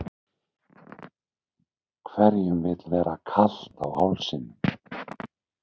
Hverjum vill vera kalt á hálsinum?